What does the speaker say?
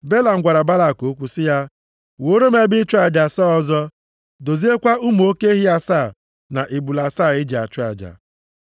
Belam gwara Balak okwu sị ya, “Wuoro m ebe ịchụ aja asaa ọzọ. Doziekwa ụmụ oke ehi asaa na ebule asaa e ji achụ aja.”